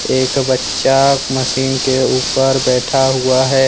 एक बच्चा मशीन के ऊपर बैठा हुआ है।